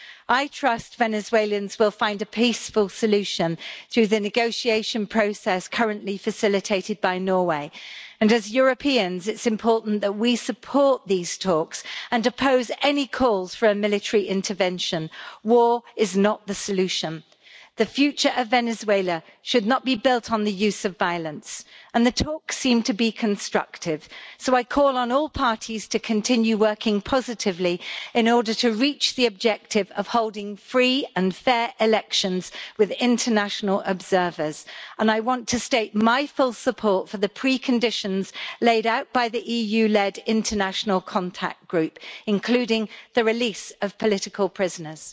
I trust Venezuelans will find a peaceful solution through the negotiation process currently facilitated by Norway. As Europeans, it is important that we support these talks and oppose any calls for a military intervention. War is not the solution. The future of Venezuela should not be built on the use of violence, and the talks seem to be constructive. I call on all parties to continue working positively in order to reach the objective of holding free and fair elections with international observers. I want to state my full support for the pre conditions laid out by the EU led international contact group, including the release of political prisoners.